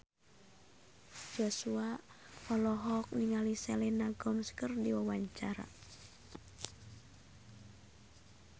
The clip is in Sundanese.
Joshua olohok ningali Selena Gomez keur diwawancara